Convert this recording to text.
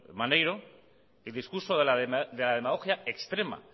maneiro es el discurso de la demagogia extrema